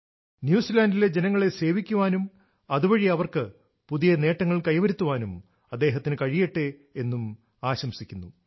ന്യൂസിലാന്റിലെ ജനങ്ങളെ സേവിക്കുവാനും അതു വഴി അവർക്ക് പുതിയ നേട്ടങ്ങൾ കൈവരുത്തുവാനും അദ്ദേഹത്തിനു കഴിയട്ടെ എന്നു ആശംസിക്കുന്നു